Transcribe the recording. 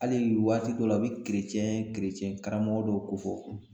Hali waati dɔw la u bɛ karamɔgɔ dɔw ko fɔ